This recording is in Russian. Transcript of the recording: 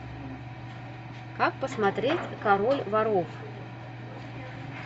как посмотреть король воров